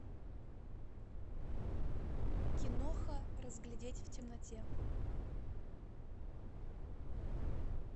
киноха разглядеть в темноте